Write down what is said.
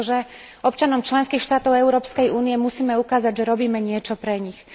Pretože občanom členských štátov Európskej únie musíme ukázať, že robíme niečo pre nich